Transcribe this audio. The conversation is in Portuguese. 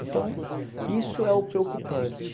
Então, isso é o preocupante.